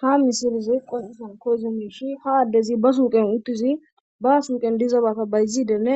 ha misilizi qonisan koyze miishi ha addezi ba suuqen uttizi ba suuqen dizabata bayzidenne